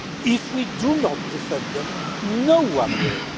If we do not defend them, no one will.